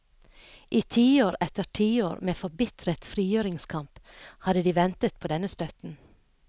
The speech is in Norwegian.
I tiår etter tiår med forbitret frigjøringskamp hadde de ventet på denne støtten.